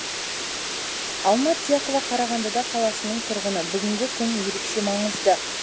алма тұяқова қарағанды да қаласының тұрғыны бүгінгі күн ерекше маңызды